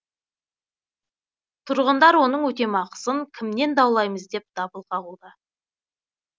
тұрғындар оның өтемақысын кімнен даулаймыз деп дабыл қағуда